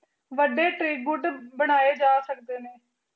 ਵੱਡੇ ਟ੍ਰਿਬੂਤ ਬਣਾਏ ਜਾ ਸਕਦੇ ਨੇ